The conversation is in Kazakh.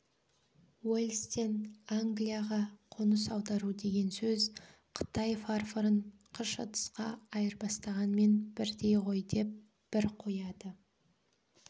уэльстен англияға қоныс аудару деген сөз қытай фарфорын қыш ыдысқа айырбастағанмен бірдей ғой деп бір қояды